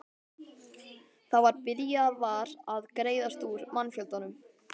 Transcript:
Það var byrjað var að greiðast úr mannfjöldanum.